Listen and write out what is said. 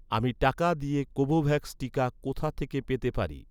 আমি টাকা দিয়ে কোভোভ্যাক্স টিকা কোথা থেকে পেতে পারি?